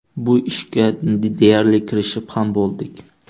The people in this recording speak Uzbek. Bu ishga deyarli kirishib ham bo‘ldik.